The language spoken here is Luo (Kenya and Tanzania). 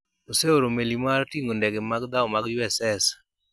oseoro meli mar ting'o ndege mag dhao mag USS